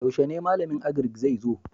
Yaushe ne malamin Agrik zai zo?